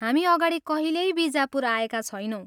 हामी अगाडि कहिल्यै बिजापुर आएका छैनौँ।